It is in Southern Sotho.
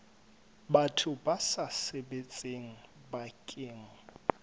batho ba sa sebetseng bakeng